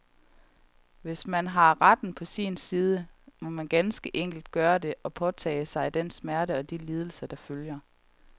Men hvis man har retten på sin side, så må man ganske enkelt gøre det, og påtage sig den smerte og de lidelser, der følger.